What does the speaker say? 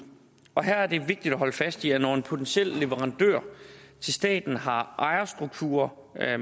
her er det vigtigt at holde fast i at når en potentiel leverandør til staten har ejerstruktur